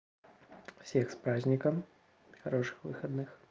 всех с праздником хороших выходных